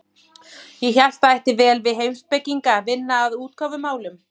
Ég hélt það ætti vel við heimspekinga að vinna að útgáfumálum.